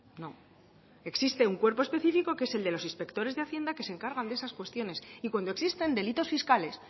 no existe un cuerpo específico que es el de los inspectores de hacienda que se encargan de esas cuestiones y cuando existen delitos fiscales